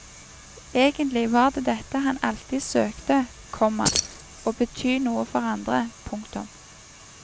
Egentlig var det dette han alltid søkte, komma å bety noe for andre. punktum